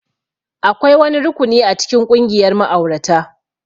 Akwai wani rukuni a cikin ƙungiyar ma'aurata